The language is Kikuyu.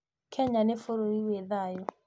Kenya ni Bũrũri wĩ thaayũ